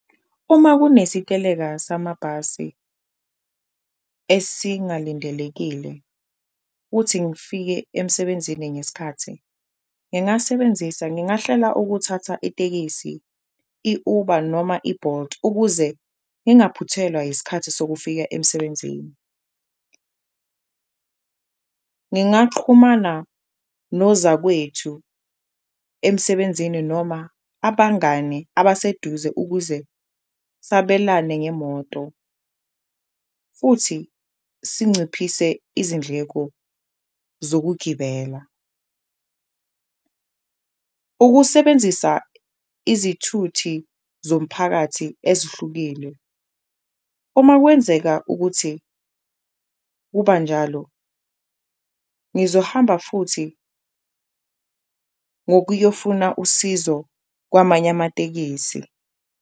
Uma kunesiteleka samabhasi esingalindelekile kuthi ngifike emsebenzini ngesikhathi ngingasebenzisa, ngingahlela ukuthatha itekisi, i-Uber futhi noma i-Bolt ukuze ngingaphuthelwa yiskhathi sokufika emsebenzini. Ngingaqhumana nozakwethu emsebenzini noma abangani abaseduze ukuze sabelane ngemoto futhi sinciphise izindleko zokugibela, ukusebenzisa izithuthi zomphakathi ezihlukile. Uma kwenzeka ukuthi kuba njalo, ngizohamba futhi ngokuyofuna usizo kwamanye amatekisi.